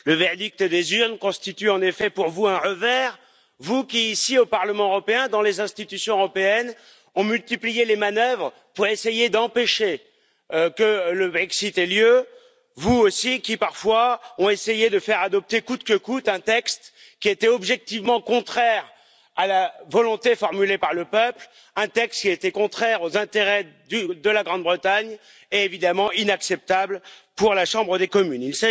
Le verdict des urnes constitue en effet pour vous un revers, vous qui, ici, au Parlement européen, dans les institutions européennes, avez multiplié les manœuvres pour essayer d'empêcher que le Brexit ait lieu, vous aussi qui, parfois, avez essayé de faire adopter coûte que coûte un texte objectivement contraire à la volonté formulée par le peuple, un texte contraire aux intérêts de la Grande Bretagne et, évidemment, inacceptable pour la Chambre des communes.